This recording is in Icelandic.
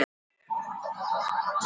Hvers vegna skemmast augasteinarnir?